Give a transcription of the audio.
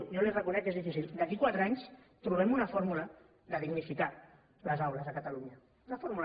jo li ho reconec que és difícil d’aquí a quatre anys trobem una fórmula per dignificar les aules a catalunya una fórmula